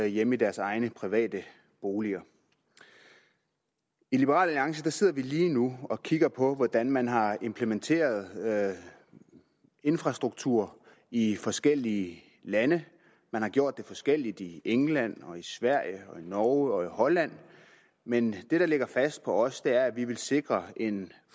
hjemme i deres egne private boliger i liberal alliance sidder vi lige nu og kigger på hvordan man har implementeret infrastruktur i forskellige lande man har gjort det forskelligt i england og i sverige og i norge og i holland men det der ligger fast for os er at vi vil sikre